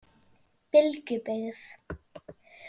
Bylgjubyggð